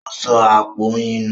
Ó sọ àpò oyin nù.